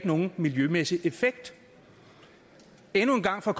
nogen miljømæssig effekt endnu en gang for